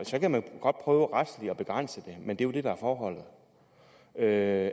så kan man godt prøve retligt at begrænse det men det er jo det der er forholdet at